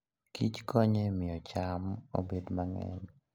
kich konyo e miyo cham obed mang'eny.